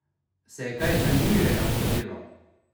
Se je kaj zanimivega porodilo?